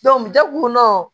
jago kɔnɔ